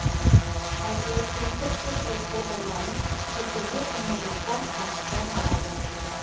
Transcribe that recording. ал электронды цифрлық колтаңбаны сексен бес мыңнан астам қашықтан алды